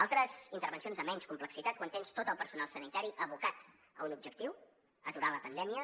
altres intervencions de menys complexitat quan tens tot el personal sanitari abocat a un objectiu aturar la pandèmia